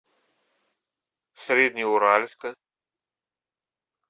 среднеуральска